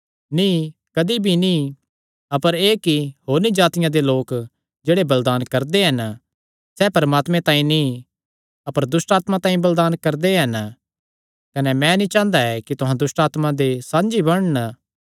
नीं कदी भी नीं अपर एह़ कि होरनी जातिआं दे लोक जेह्ड़े बलिदान करदे हन सैह़ परमात्मे तांई नीं अपर दुष्टआत्मां तांई बलिदान करदे हन कने मैं नीं चांह़दा कि तुहां दुष्टआत्मां दे साझी बणन